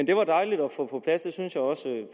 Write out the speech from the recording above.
det var dejligt at få på plads jeg synes også